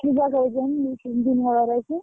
ବା କହୁଛନ୍ତି ତିନ ଦିନ ହବାର ଅଛି।